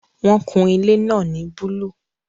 Wọn kun ilé náà ní búlúù